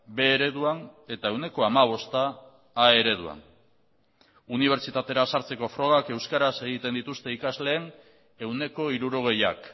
b ereduan eta ehuneko hamabosta a ereduan unibertsitatera sartzeko frogak euskaraz egiten dituzte ikasleen ehuneko hirurogeiak